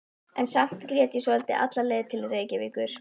En samt grét ég svolítið alla leið til Reykjavíkur.